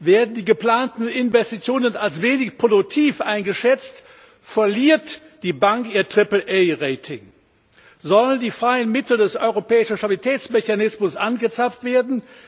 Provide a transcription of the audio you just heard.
Werden die geplanten Investitionen als wenig produktiv eingeschätzt, verliert die Bank ihr AAA Rating. Sollen die freien Mittel des europäischen Stabilitätsmechanismus angezapft werden?